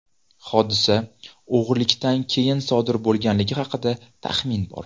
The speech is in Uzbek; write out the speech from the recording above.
Hodisa o‘g‘rilikdan keyin sodir bo‘lganligi haqida taxmin bor.